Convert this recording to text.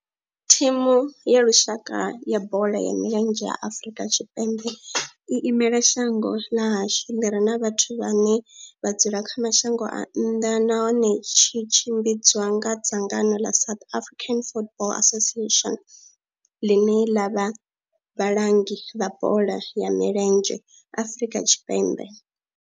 Thimu ya lushaka ya bola ya milenzhe ya Afrika Tshipembe i imela shango ḽa hashu ḽi re na vhathu vhane vha dzula kha mashango a nnḓa nahone tshi tshimbidzwa nga dzangano ḽa South African Football Association, ḽine ḽa vha vhalangi vha bola ya milenzhe Afrika Tshipembe.